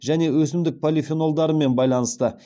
және өсімдік полифенолдарымен байланысты